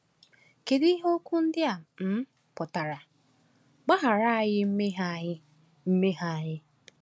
Kedu ihe okwu ndị a um pụtara: “Gbaghara anyị mmehie anyị mmehie anyị”?